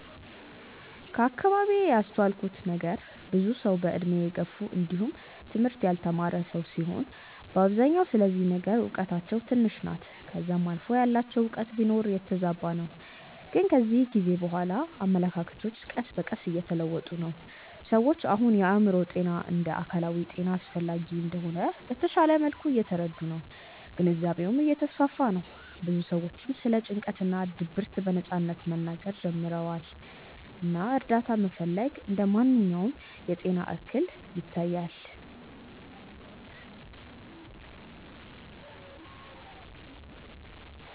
ከአከባቢዬ ያስተዋልኩት ነገር ብዙ ሰዉ በእድሜ የገፉ እንዲውም ትምህርት ያልተማረ ሰዉ ሲሆኑ በአብዛኛው ስለዚህ ነገር እውቀታቸው ትንሽ ናት ከዛም አልፎ ያላቸውም እውቀት ቢኖር የተዛባ ነው ግን ከጊዜ በኋላ አመለካከቶች ቀስ በቀስ እየተለወጡ ነው። ሰዎች አሁን የአእምሮ ጤና እንደ አካላዊ ጤና አስፈላጊ እንደሆነ በተሻለ መልኩ እየተረዱ ነው ግንዛቤውም እየተስፋፋ ነው ብዙ ሰዎችም ስለ ጭንቀት እና ድብርት በነጻነት መናገር ጀምረዋል እና እርዳታ መፈለግ እንደ ማንኛውም የጤና እክል ይታያል።